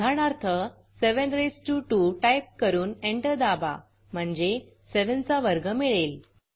उदाहरणार्थ 7 raised to 2 type करून enter दाबा म्हणजे 7 चा वर्ग मिळेल